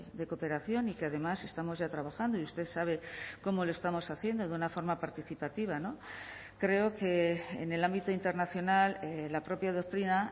de cooperación y que además estamos ya trabajando y usted sabe cómo lo estamos haciendo de una forma participativa creo que en el ámbito internacional la propia doctrina